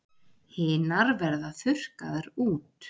Hinar verða þurrkaðar út.